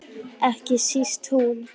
Ekki síst hún.